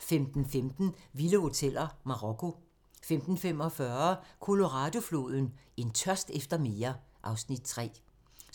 15:15: Vilde hoteller: Marokko 15:45: Colorado-floden: En tørst efter mere (Afs. 3)